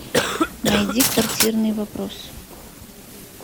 найди квартирный вопрос